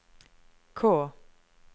K